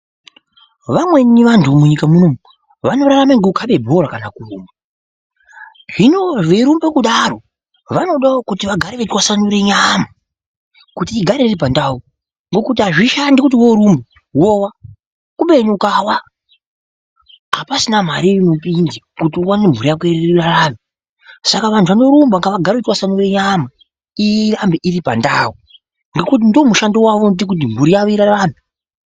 Vamweni vanthu munyika munomu vanorarama ngekukhabe bhora kana kurumba hino veirumba kudaro vanodawo kuti vagare veitwasanure nyama kuti igare iripandau ngokuti azvishandi kuti worumba wowa kubeni ukawa apasisina mare inopinda kuti uwane kuti mbhuri yako irambe yeirarama saka vanorumba ngavagare veitwasanura nyama kuti irambe iri pandau ngokuti ndiwo mushando unoite kuti mbhuri yavo irarame.